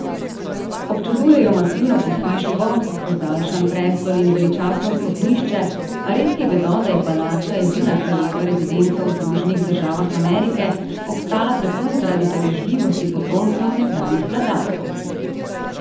Občudujejo masivno pohištvo, ozaljšan prestol in veličastno stopnišče, a redki vedo, da je palača, edina kraljeva rezidenca v Združenih državah Amerike, obstala predvsem zaradi darežljivosti potomcev nekdanjih vladarjev.